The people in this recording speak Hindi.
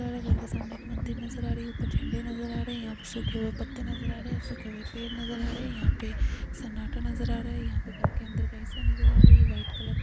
पुराने घर के सामने एक मंदिर नजर आ रही है। ऊपर झंडे नजर आ रहे हैं। यहां पे सूखे हुए पत्ते नजर आ रहे हैं। सूखे हुए पेड़ नजर आ रहे हैं। यहां पे सन्नाटा नजर आ रहा है। यहां पे घर के अंदर का हिस्सा नजर आ रहा है। ये व्हाइट कलर --